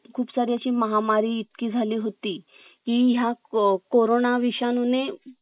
खूप सारी अशी महामारी इतकी झाली होती की या क कोरोना विषाणू ने